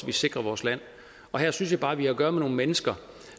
vi sikrer vores land her synes jeg bare at vi har at gøre med nogle mennesker